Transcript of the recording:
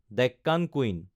Deccan queen